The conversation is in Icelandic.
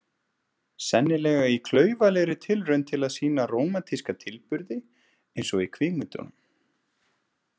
Sennilega í klaufalegri tilraun til að sýna rómantíska tilburði eins og í kvikmyndunum.